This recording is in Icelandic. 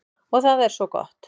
Og það er svo gott.